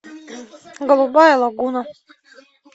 голубая лагуна